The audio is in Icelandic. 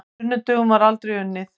Á sunnudögum var aldrei unnið.